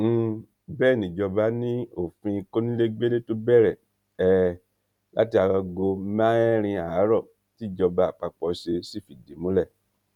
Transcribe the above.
um bẹẹ níjọba ni òfin kónílégbélé tó bẹrẹ um láti aago mẹrin àárọ tìjọba àpapọ ṣe sì fìdí múlẹ